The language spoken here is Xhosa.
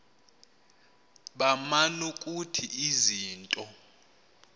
baman ukuthi izinto